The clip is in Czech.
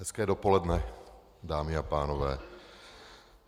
Hezké dopoledne, dámy a pánové.